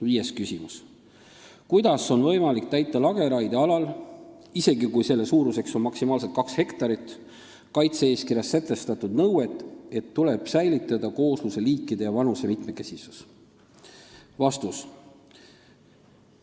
Viies küsimus: "Kuidas on võimalik täita lageraie alal kaitse-eeskirjas sätestatud nõuet, et "tuleb säilitada koosluse liikide ja vanuse mitmekesisus"?